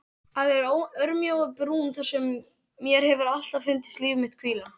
Að þeirri örmjóu brún þar sem mér hefur alltaf fundist líf mitt hvíla.